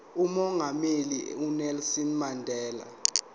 umongameli unelson mandela